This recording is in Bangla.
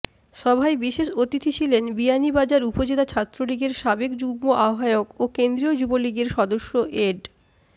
সভায় বিশেষ অতিথি ছিলেন বিয়ানীবাজার উপজেলা ছাত্রলীগের সাবেক যুগ্ম আহবায়ক ও কেন্দ্রীয় যুবলীগের সদস্য এড